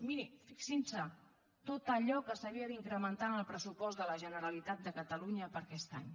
mirin fixins’hi tot allò que s’havia d’incrementar en el pressupost de la generalitat de catalunya per a aquest any